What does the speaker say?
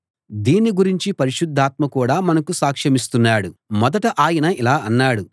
దీన్ని గురించి పరిశుద్ధాత్మ కూడా మనకు సాక్షమిస్తున్నాడు మొదట ఆయన ఇలా అన్నాడు